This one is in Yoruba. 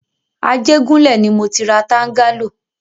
Ajégúnlẹ̀ ni mọ ti ra tángálò.